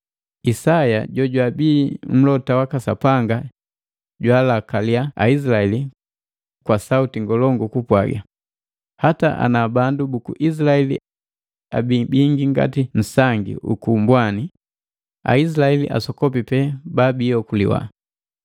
Isaya jojwabii mlota waka Sapanga jwaalakalia Aizilaeli kwa sauti ngolongu kupwaga, “Hata ana bandu buku Aizilaeli abii bingi ngati nsangi uku mbwani, Aizilaeli asokopi pee babii okuliwa,